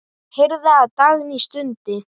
Ég heyrði að Dagný stundi.